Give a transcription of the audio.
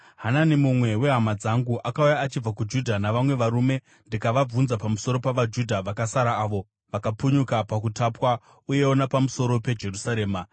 Hanani, mumwe wehama dzangu, akauya achibva kuJudha navamwe varume, ndikavabvunza pamusoro pavaJudha vakasara avo vakapunyuka pakutapwa, uyewo napamusoro peJerusarema.